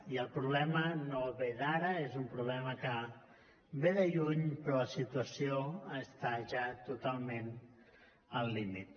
i el problema no ve d’ara és una problema que ve de lluny però la situació està ja totalment al límit